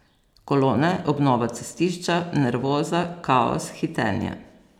Kolone, obnova cestišča, nervoza, kaos, hitenje ...